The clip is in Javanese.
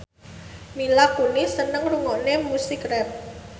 Mila Kunis seneng ngrungokne musik rap